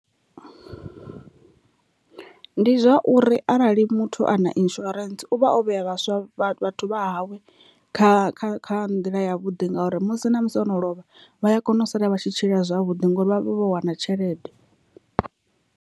Ndi zwauri arali muthu ana insurance uvha o vhea vhaswa vha vhathu vha hawe kha kha kha nḓila ya vhuḓi ngauri musi na musi ono lovha vhaya kona u sala vha tshi tshila zwavhuḓi ngori vha vha vho wana tshelede.